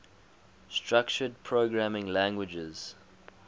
structured programming languages